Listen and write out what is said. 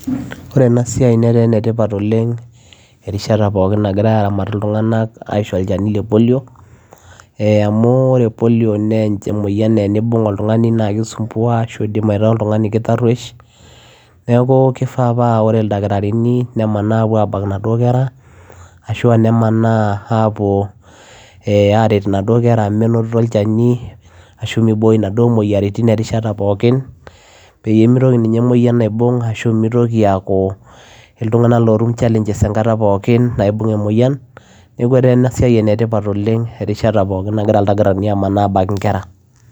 Ore ena siai netaa enetipat oleng' erishata pookin nagirai aaramat iltung'anak aisho olchani le Polio ee amu ore Polio naa emoyian naa eniibung' oltung'ani naa kisumbua ashu indim aitaa oltung'ani tarruosh neeku kifaa paa ore ildakitarini nemanaa aapuo aabak inaduo kera ashu aa nemanaa apuo ee aaret inaduo kera aa menotito olchani ashu mibooi inaduo moyiaritin erishata pookin peyie mitoki ninye emoyian aibung' ashu mitoki aaku iltung'anak lootum challenges enkata pookin naibung' emoyian neeku etaa ena siai enetipat oleng' erishata pookin nagira ildakitarini aamanaa aabak nkera.